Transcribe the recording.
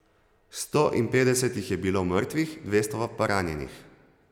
Sto in petdeset jih je bilo mrtvih, dvesto pa ranjenih.